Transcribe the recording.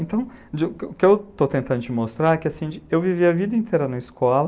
Então, o que eu estou tentando te mostrar é que eu vivi a vida inteira na escola.